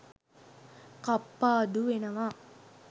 කප්පාදු වෙනවා